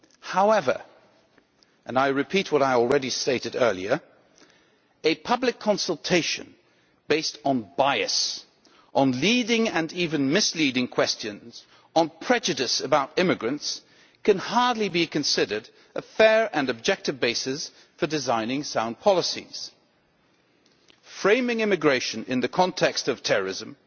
However, and I repeat what I already stated earlier, a public consultation based on bias, on leading and even misleading questions, on prejudice about immigrants, can hardly be considered a fair and objective basis for designing sound policies. Framing immigration in the context of terrorism,